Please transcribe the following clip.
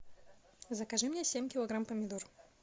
закажи мне семь килограмм помидор